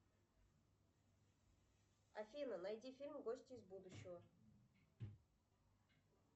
афина найди фильм гости из будущего